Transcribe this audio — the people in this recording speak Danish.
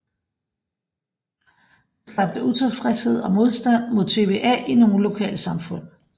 Det skabte utilfredshed og modstand mod TVA i nogle lokalsamfund